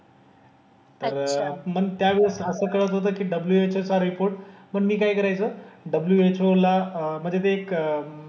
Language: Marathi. तर मग त्यावेळेस असं कळत होतं की WHO चा रिपोर्ट पण मी काय करायचो WHO ला म्हणजे ते एक,